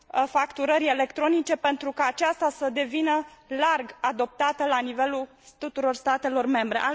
facturării electronice pentru ca aceasta să devină larg adoptată la nivelul tuturor statelor membre.